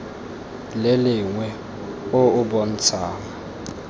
le lengwe o o bontshang